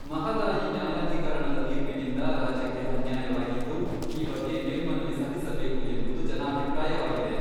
ಮಹದಾಯಿ ನ್ಯಾಯಾಧೀಕರಣದ ತೀರ್ಪಿನಿಂದ ರಾಜ್ಯಕ್ಕೆ ಅನ್ಯಾಯವಾಗಿದ್ದು, ಈ ಬಗ್ಗೆ ಮೇಲ್ಮನವಿ ಸಲ್ಲಿಸಬೇಕು ಎಂಬುದು ಜನಾಭಿಪ್ರಾಯವಾಗಿದೆ.